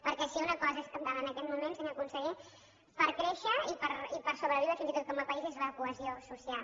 perquè si una cosa és cabdal en aquest moment senyor conseller per créixer i per sobreviure fins i tot com a país és la cohesió social